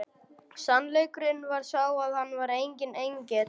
Sannleikurinn var sá að hann var enginn engill!